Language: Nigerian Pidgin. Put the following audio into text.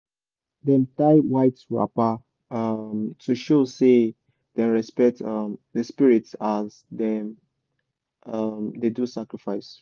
dem tie white wrapper um to show say dem respect um the spirit as dem um dey do sacrifice